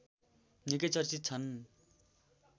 निकै चर्चित छन्